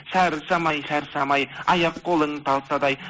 шаршамай шаршамай аяқ қолың талса да ай